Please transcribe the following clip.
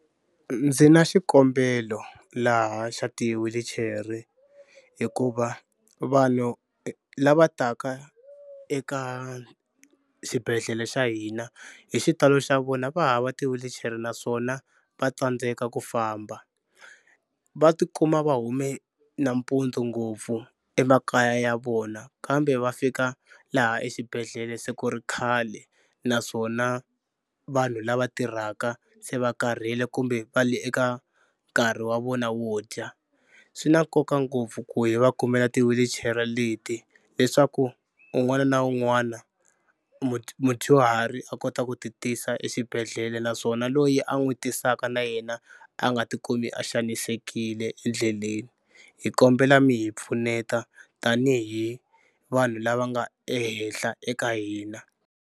Ndzi na xikombelo laha xa ti-wheelchair-e hikuva vanhu lava taka eka xibedhlele xa hina hi xitalo xa vona va hava ti-wheelchair-e naswona va tsandzeka ku famba. Va tikuma va hume nampundzu ngopfu emakaya ya vona kambe va fika laha exibedhlele se ku ri khale naswona vanhu lava tirhaka se va karhele kumbe va le eka nkarhi wa vona wo dya. Swi na nkoka ngopfu ku hi va kumela ti-wheelchair-e leti leswaku un'wana na un'wana mudyuhari a kota ku titisa exibedhlele naswona loyi a n'wi tisaka na yena a nga tikumi a xanisekile endleleni. Hi kombela mi hi pfuneta tanihi vanhu lava nga ehenhla eka hina.